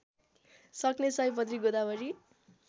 सक्ने सयपत्री गोदावरी